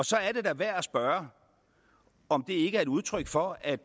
så er det da værd at spørge om det ikke er et udtryk for at